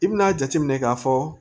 I bina a jateminɛ k'a fɔ